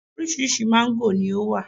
orísirísi mango ni o wa